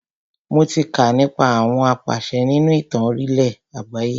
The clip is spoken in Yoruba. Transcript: Mo tí kà nípa àwọn apàṣẹ nínú ìtàn orílẹ̀ àgbáyé.